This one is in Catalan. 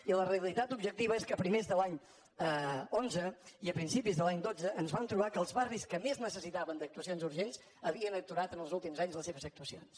i la realitat objectiva és que a primers de l’any onze i a principis de l’any dotze ens vam trobar que els barris que més necessitaven actuacions urgents havien aturat en els últims anys les seves actuacions